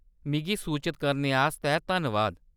मिगी सूचत करने आस्तै धन्नबाद।